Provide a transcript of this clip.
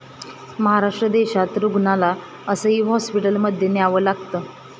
महाराष्ट्र देशा'त रुग्णाला असंही हॉस्पिटलमध्ये न्यावं लागतं!